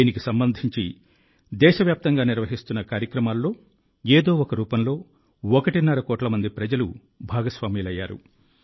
దీనికి సంబంధించి దేశవ్యాప్తంగా నిర్వహిస్తున్న కార్యక్రమాల్లో ఏదో ఒక రూపంలో ఒకటిన్నర కోట్ల మంది ప్రజలు భాగస్వాములయ్యారు